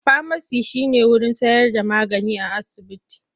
Famaci shi ne wurin bayar da magani a asibiti.